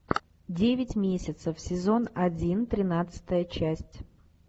девять месяцев сезон один тринадцатая часть